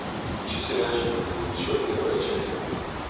включи сериальчик люди будущего первая часть